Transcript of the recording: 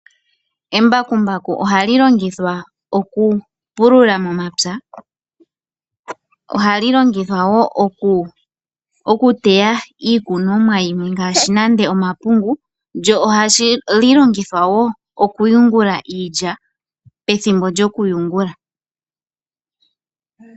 Embakumbaku ohali longithwa momikalo dhi ili nodhi ili ngaashi, okupulula mompya okuteya iikunomwa yimwe ngaashi omapungu, noshowo okuyungula iilya pethimbo lyokuyungula.